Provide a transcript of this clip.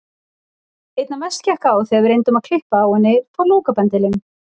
Einna mest gekk á þegar við reyndum að klippa á henni flókabendilinn.